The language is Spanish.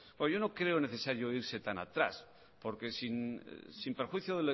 yo no creo necesario irse tan atrás porque sin perjuicio